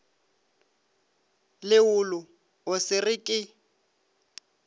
leolo o se re ke